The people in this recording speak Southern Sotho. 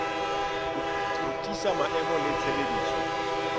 ho tiisa maemo le tshebediso